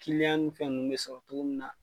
Kiliyan ni fɛ ninnu bɛ sɔrɔ cogo min na.